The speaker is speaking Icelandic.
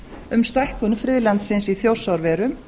um stækkun friðlandsins í þjórsárverum